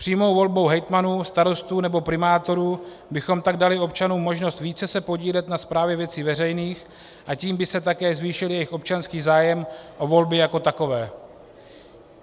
Přímou volbou hejtmanů, starostů nebo primátorů bychom tak dali občanům možnost více se podílet na správě věcí veřejných, a tím by se také zvýšil jejich občanský zájem o volby jako takové.